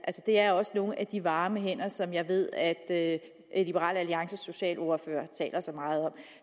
det er også nogle af de varme hænder som jeg ved at liberal alliances socialordfører taler så meget om